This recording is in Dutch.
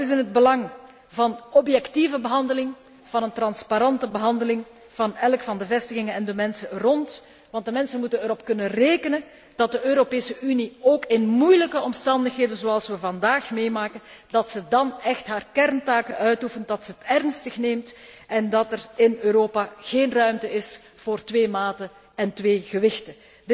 Dat is in het belang van objectieve behandeling, van een transparante behandeling van elk van de vestigingen en de mensen erom heen, want de mensen moeten erop kunnen rekenen dat de Europese Unie ook in moeilijke omstandigheden zoals vandaag, haar kerntaken uitoefent, dat ze het ernstig neemt en dat er in Europa geen ruimte is voor twee maten en twee gewichten.